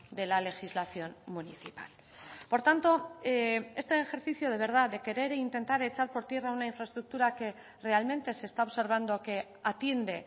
de la legislación municipal por tanto este ejercicio de verdad de querer intentar echar por tierra una infraestructura que realmente se está observando que atiende